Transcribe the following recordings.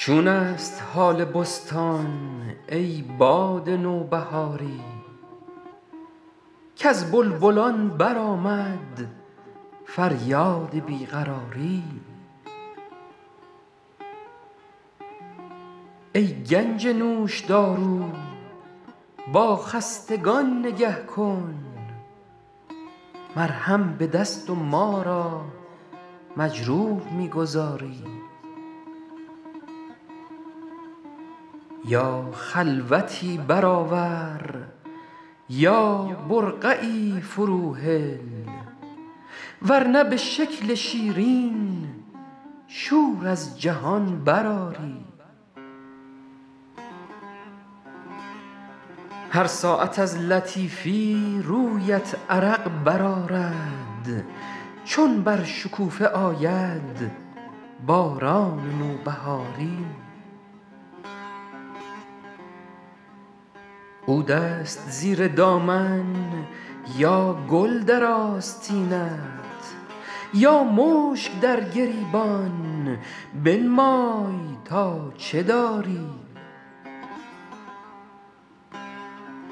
چون است حال بستان ای باد نوبهاری کز بلبلان برآمد فریاد بی قراری ای گنج نوشدارو با خستگان نگه کن مرهم به دست و ما را مجروح می گذاری یا خلوتی برآور یا برقعی فروهل ور نه به شکل شیرین شور از جهان برآری هر ساعت از لطیفی رویت عرق برآرد چون بر شکوفه آید باران نوبهاری عود است زیر دامن یا گل در آستینت یا مشک در گریبان بنمای تا چه داری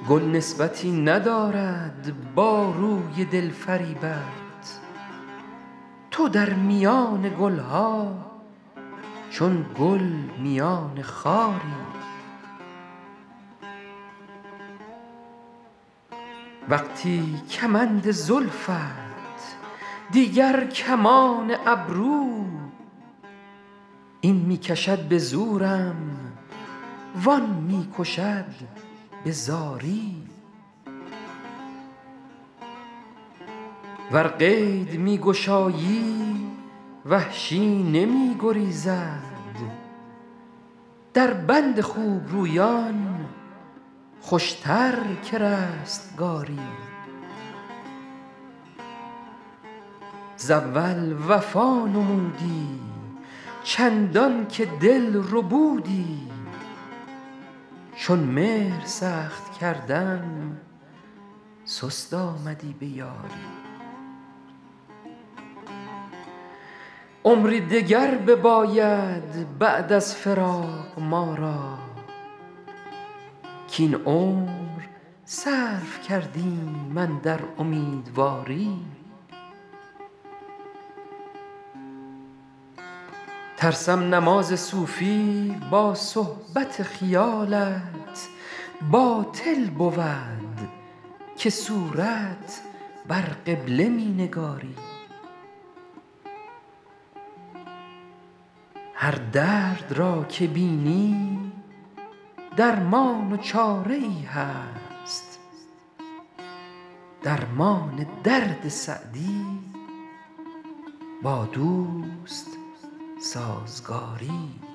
گل نسبتی ندارد با روی دل فریبت تو در میان گل ها چون گل میان خاری وقتی کمند زلفت دیگر کمان ابرو این می کشد به زورم وآن می کشد به زاری ور قید می گشایی وحشی نمی گریزد در بند خوبرویان خوشتر که رستگاری ز اول وفا نمودی چندان که دل ربودی چون مهر سخت کردم سست آمدی به یاری عمری دگر بباید بعد از فراق ما را کاین عمر صرف کردیم اندر امیدواری ترسم نماز صوفی با صحبت خیالت باطل بود که صورت بر قبله می نگاری هر درد را که بینی درمان و چاره ای هست درمان درد سعدی با دوست سازگاری